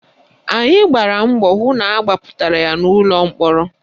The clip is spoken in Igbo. Anyị gbara mbọ hụ na agbapụtara ya n'ụlọ mkpọrọ